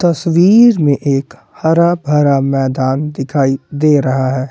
तस्वीर में एक हरा भरा मैदान दिखाई दे रहा है।